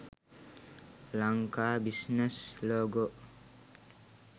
lanka business logo